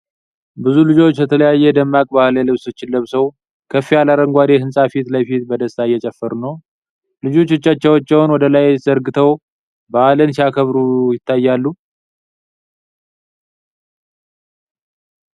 ብዙ ልጆች የተለያዩ ደማቅ ባህላዊ ልብሶችን ለብሰው፣ ከፍ ያለ አረንጓዴ ሕንፃ ፊት ለፊት በደስታ እየጨፈሩ ነው። ልጆቹ እጆቻቸውን ወደ ላይ ዘርግተው በዓልን ሲያከብሩ ይታያሉ።